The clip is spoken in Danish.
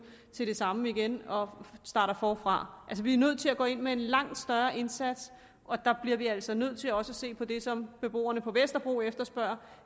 til det samme igen og starter forfra vi er nødt til at gå ind med en langt større indsats og der bliver vi altså også nødt til at se på det som beboerne på vesterbro efterspørger